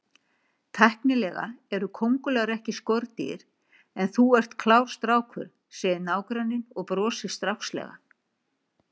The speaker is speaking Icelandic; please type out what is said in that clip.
Tæknilega eru kóngulær ekki skordýr en þú ert klár strákur, segir nágranninn og brosir strákslega.